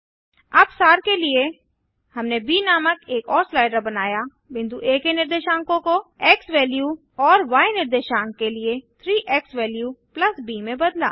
अब सार के लिए हमने ब नामक एक और स्लाइडर बनाया बिंदु आ के निर्देशांक को एक्सवैल्यू और य निर्देशांक के लिए 3 एक्सवैल्यू ब में बदला